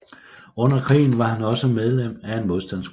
Under krigen var han også medlem af en modstandsgruppe